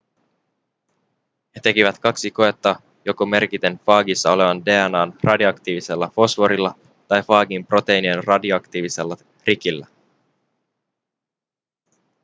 he tekivät kaksi koetta joko merkiten faagissa olevan dna:n radioaktiivisella fosforilla tai faagin proteiinin radioaktiivisella rikillä